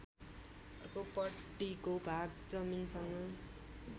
अर्कोपट्टिको भाग जमिनसँग